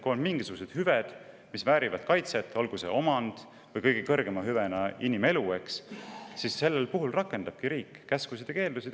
Kui on mingisugused hüved, mis väärivad kaitset, olgu see omand või kõige kõrgema hüvena inimelu, siis sel puhul rakendabki riik käskusid ja keeldusid.